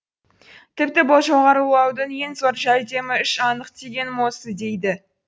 тіпті бұл жоғарылаудың ең зор жәрдемі үш анық дегенім осы дейді